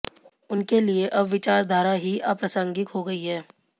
उनके लिए अब विचारधारा ही अप्रासंगिक हो गई है